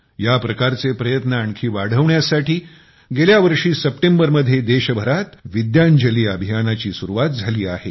या प्रकारचे प्रयत्न आणखी वाढवण्यासाठी गेल्या वर्षी सप्टेंबरमध्ये देशभरात विद्यांजली अभियानाची सुरुवात झाली आहे